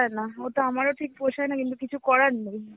না. ওটা আমার ঠিক পোষায় না কিন্তু কিছু করার নেই.